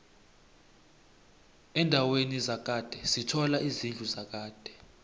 endaweni zakhade sithola izidlu zakade